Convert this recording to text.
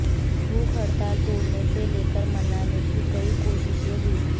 भूख हड़ताल तोड़ने को लेकर मनाने की कई कोशिशें हुईं